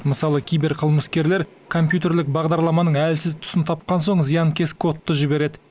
мысалы киберқылмыскерлер компьютерлік бағдарламаның әлсіз тұсын тапқан соң зиянкес кодты жібереді